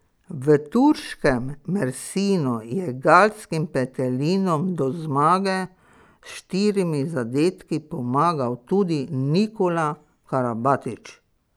V turškem Mersinu je galskim petelinom do zmage s štirimi zadetki pomagal tudi Nikola Karabatić.